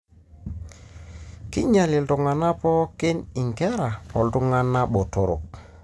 kinyial iltungana pooki ingera oltungana botorok.